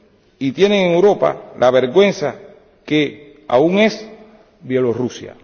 y tienen en Europa la vergüenza que aún es Bielorrusia.